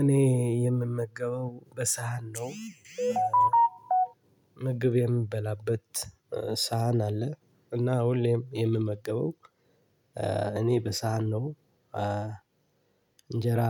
እኔ የምመገበው በሳህን ነው። ምግብ የምበላበት ሳህን አለ። እና ሁሌም የምመገበው። እኔ በሳህን ነው እንጀራ